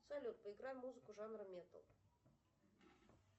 салют поиграй музыку жанра металл